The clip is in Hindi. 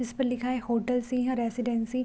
इसपे लिखा है होटल सिंह रेसीडेन्सी ।